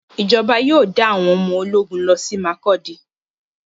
Ìjọba yóò dá àwọn ọmọ ológun lọsí Makurdi.